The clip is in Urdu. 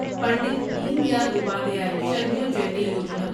پنڈت دین دیال اپادھیائے شرمیو جیاتی یوجنا